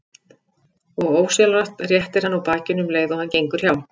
Og ósjálfrátt réttir hann úr bakinu um leið og hann gengur hjá.